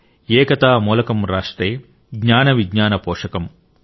ఏకతా మూలకం రాష్ట్రే జ్ఞాన విజ్ఞాన పోషకమ్|